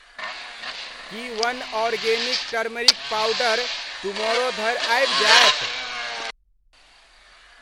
की one organic turmeric powder tomorrow धरि आबि जायत ?